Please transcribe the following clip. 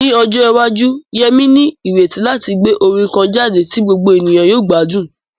Ní ọjọ́ iwájú, Yemi ní ìrètí láti gbé orin kan jáde tí gbogbo ènìyàn yóò gbádùn.